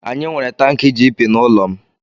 Anyị nwere tankị GP n'ụlọ m.